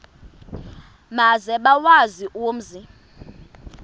maze bawazi umzi